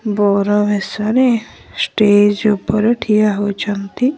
ବର ବେଶରେ ଷ୍ଟେଜ ଉପରେ ଠିଆ ହଇଛନ୍ତି।